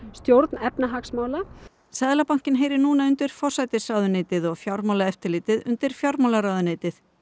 stjórn efnahagsmála seðlabankinn heyrir núna undir forsætisráðuneytið og Fjármálaeftirlitið undir fjármálaráðuneytið